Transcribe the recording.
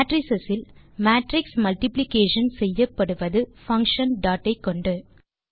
matrix இல் matrix multiplication செய்யப்படுவது function dot ஐ கொண்டு